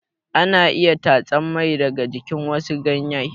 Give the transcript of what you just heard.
Ana iya tatsan mai daga jikin wasu ganye.